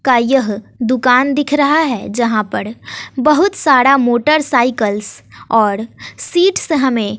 का यह दुकान दिख रहा है यहां पड़ बहुत साड़ा मोटरसाइकलस और सीटस हमें--